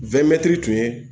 tun ye